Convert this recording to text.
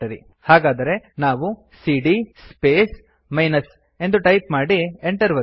ಹಾಗಾದರೆ ನಾವು ಸಿಡಿಯ ಸ್ಪೇಸ್ ಮೈನಸ್ ಎಂದು ಟೈಪ್ ಮಾಡಿ Enter ಒತ್ತಿ